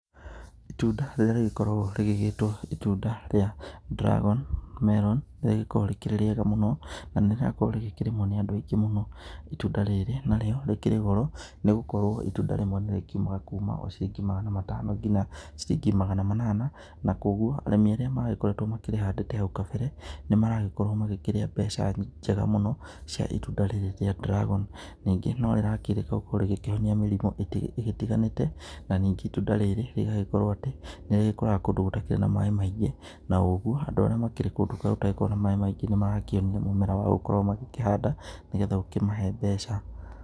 Itunda rĩrĩa rĩgĩkoragwo rĩgĩgĩtwo itunda rĩa Dragon Melon rĩgĩkoragwo rĩkĩrĩ rĩega mũno na nĩ rĩrakorwo rĩkĩrĩmwo nĩ andũ aingĩ mũno itunda rĩrĩ narĩo rĩkĩrĩ goro nĩgũkorwo itunda rĩmwe nĩ rĩkĩumaga o kuma ciringi magana matano nginya ciringi magana mana na koguo arĩmi arĩa makoretwo makĩrĩhande haũ kambere nĩ maragĩkorwo makĩrĩa mbeca nyingĩ mũno cia itunda rĩrĩ rĩa Dragon, ningĩ no rĩrakĩrĩka gũkorwo rĩkĩhonia mĩrimũ igĩtiganĩte na ningĩ itunda rĩrĩ rĩgagĩkorwo atĩ nĩ rĩgĩkũraga kũndũ gũtarĩ na matunda maingĩ na ũgũo andũ arĩa makĩrĩ kũndũ gũtagĩkoragwo na maĩ maingĩ nĩ marakĩonio mũmera wa gũkorwo magĩkĩhanda nĩgetha ũmahe mbeca.